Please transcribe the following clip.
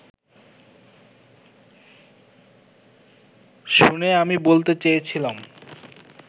শুনে আমি বলতে চেয়েছিলাম